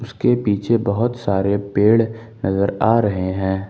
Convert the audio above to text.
इसके पीछे बहोत सारे पेड़ नजर आ रहे हैं।